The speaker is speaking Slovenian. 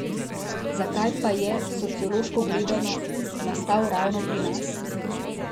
Zakaj pa je, sociološko gledano, nastal ravno pri nas?